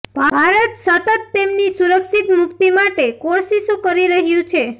ભારત સતત તેમની સુરક્ષિત મુક્તિ માટે કોશિશો કરી રહ્યુ છે